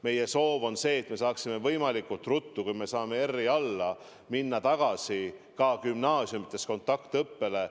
Meie soov on see, et me saaksime võimalikult ruttu – kui me saame R-i alla – minna ka gümnaasiumides tagasi kontaktõppele.